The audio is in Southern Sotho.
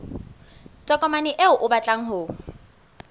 tokomane eo o batlang ho